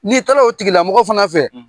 N'i taala o tigilamɔgɔmɔ fana fɛ